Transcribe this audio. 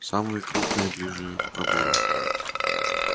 самые крупные ближе к пробору